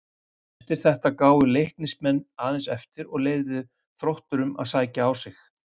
Eftir þetta gáfu Leiknismenn aðeins eftir og leyfðu Þrótturum að sækja á sig.